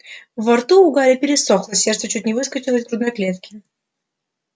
во рту у гарри пересохло сердце чуть не выскочило из грудной клетки